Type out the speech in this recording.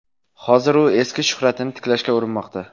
Hozir u eski shuhratini tiklashga urinmoqda.